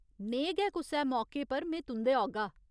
नेहे गै कुसै मौके पर में तुं'दे औगा।